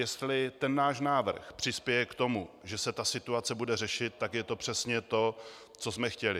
Jestli ten náš návrh přispěje k tomu, že se ta situace bude řešit, tak je to přesně to, co jsme chtěli.